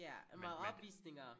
Ja meget opvisninger?